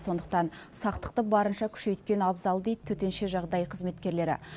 сондықтан сақтықты барынша күшейткен абзал дейді төтенше жағдай қызметкерлері